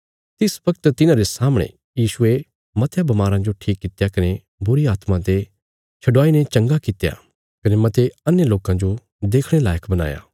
तिस बगत तिन्हारे सामणे यीशुये मतयां बमाराँ जो ठीक कित्या कने बुरीआत्मां ते छडुआईने चंगा कित्या कने मते अन्हे लोकां जो देखणे लायक बणाया